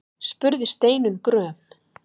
spurði Steinunn gröm.